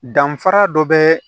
Danfara dɔ bɛ